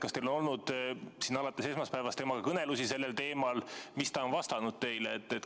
Kas teil on olnud alates esmaspäevast temaga kõnelusi sellel teemal ja mis ta on vastanud teile?